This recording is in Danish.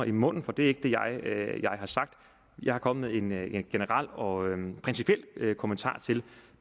i munden for det er ikke det jeg har sagt jeg er kommet med en generel og principiel kommentar til